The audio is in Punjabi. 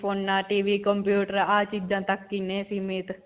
ਫੋਨਾਂ, TV computer ਆਹ ਚੀਜਾਂ ਤੱਕ ਹੀ ਨੇ ਸੀਮਿਤ.